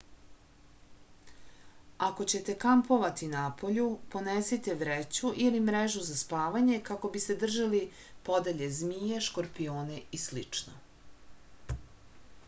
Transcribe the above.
ako ćete kampovati napolju ponesite vreću ili mrežu za spavanje kako biste držali podalje zmije škorpione i slično